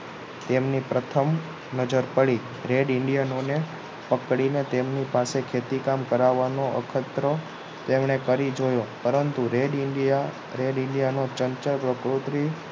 તેમની પ્રથમ નજર પડી red indian ને પકડીને તેમની પાસે ખેતી કામ કરાવવાનું અખતરો તેમને કરી જોયો પરંતુ red india red india માં ચળચળ